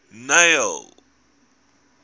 neil